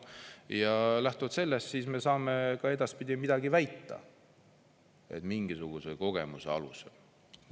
Ja lähtuvalt sellest me saame ka edaspidi midagi väita, et mingisuguse kogemuse alusel.